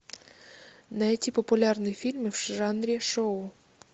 найти популярные фильмы в жанре шоу